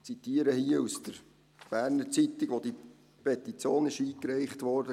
» Ich zitiere hier aus der «Berner Zeitung», als die Petition eingereicht wurde: